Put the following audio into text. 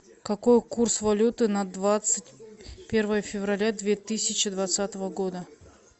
какой курс валюты на двадцать первое февраля две тысячи двадцатого года